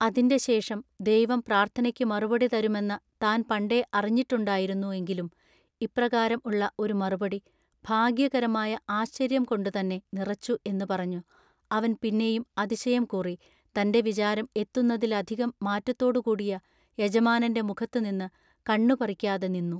അതിന്റെ ശേഷം ദൈവം പ്രാർത്ഥനയ്ക്ക് മറുപടി തരുമെന്ന താൻ പണ്ടേ അറിഞ്ഞിട്ടുണ്ടായിരുന്നു എങ്കിലും ഇപ്രകാരം ഉള്ള ഒരു മറുപടി ഭാഗ്യകരമായ ആശ്ചര്യം കൊണ്ടു തന്നെ നിറച്ചു എന്നു പറഞ്ഞു അവൻ പിന്നെയും അതിശയം കൂറി തന്റെ വിചാരം എത്തുന്നതിലധികം മാറ്റത്തോടു കൂടിയ യജമാനന്റെ മുഖത്തുനിന്നു കണ്ണു പറിക്കാതെ നിന്നു.